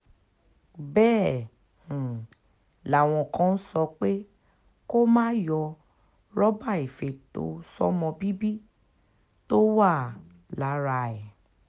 bẹ́ẹ̀ um làwọn kan ń sọ pé kó má yọ̀ rọ́bà ìfètò sọ́mọ bíbí tó wà um lára ẹ̀